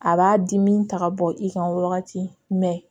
A b'a dimi ta ka bɔ i kan wagati